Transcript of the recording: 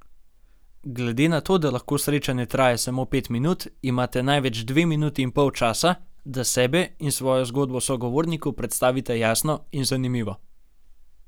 Glede na to, da lahko srečanje traja samo pet minut, imate največ dve minuti in pol časa, da sebe in svojo zgodbo sogovorniku predstavite jasno in zanimivo.